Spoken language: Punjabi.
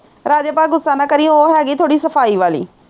ਰਾਜੇ ਪਰ ਗੁਸਾ ਨਾ ਕਰੀ ਉਹ ਹੇਗੀ ਥੋੜੀ ਸਫਾਈ ਵਾਲੀ